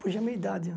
Puxa, é a minha idade.